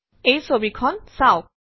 এই ছৱিখন চাওক